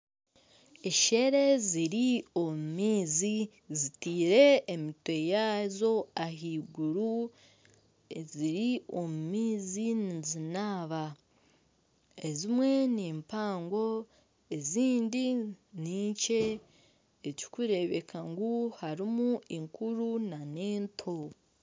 Eshere ziri omu maizi zitiire emitwe yazo ah'iguru eziri omu maizi nizinaaba. Ezimwe ni mpaango ezindi ni nkye ekirikurebeka ngu harimu enkuru nana ento.